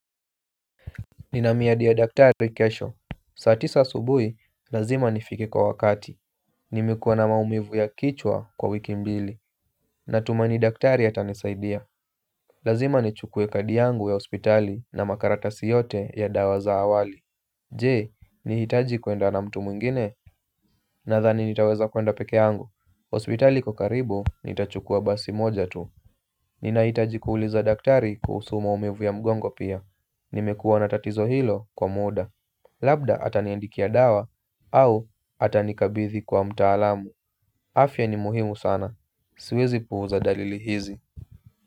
Nina miadi ya daktari kesho, saa tisa asubuhi, lazima nifike kwa wakati. Nimekua na maumivu ya kichwa kwa wiki mbili. Natumaini daktari atanisaidia. Lazima nichukue kadi yangu ya hospitali na makaratasi yote ya dawa za awali. Je, nahitaji kwenda na mtu mwingine? Nadhani nitaweza kwenda peke yangu. Hospitali kwa karibu, nitachukua basi moja tu. Ninahitaji kuuliza daktari kuhusu maumivu ya mgongo pia. Nimekuwa na tatizo hilo kwa muda. Labda ataniandikia dawa au atanikabidhi kwa mtaalamu. Afya ni muhimu sana. Siwezi puuza dalili hizi.